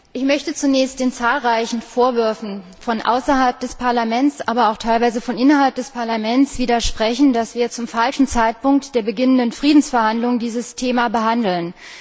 Ich möchte zunächst den zahlreichen Vorwürfen von außerhalb des Parlaments, aber auch teilweise von innerhalb des Parlaments, widersprechen, dass wir dieses Thema zum falschen Zeitpunkt, nämlich nach Beginn der Friedensverhandlungen behandeln.